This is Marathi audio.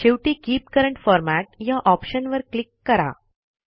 शेवटी कीप करंट फॉर्मॅट या ऑप्शनवर क्लिक करा